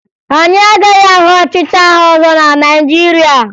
Anyị agaghị ahụ ọchịchị agha ọzọ na Naịjirịa